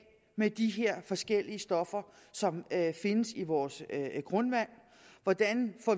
med de her forskellige stoffer som findes i vores grundvand hvordan